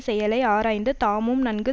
செயலை ஆராய்ந்து தாமும் நன்கு